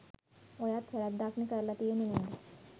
ඔයාත් වැ‍රැද්දක්නේ කරල තියෙන්නේ නේද?